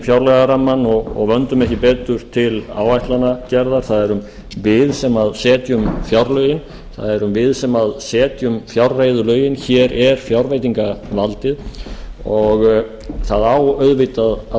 fjárlagarammann og vöndum ekki betur til áætlanagerðar það erum við sem setjum fjárlögin það erum við sem setjum fjárreiðulögin hér er fjárveitingavaldið og það á auðvitað að